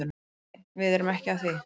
Nei nei, við erum ekki að því.